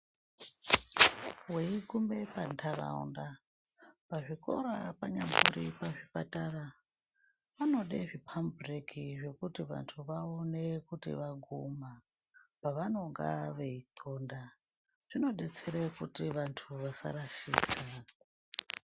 Weigume pantaraunda , pazvikora panyambori pazvipatara panode zvipambubhireki zvekuti vantu vaone kuti vaguma pavanomga veinxonda , zvidetsera kuti vantu vasarashika.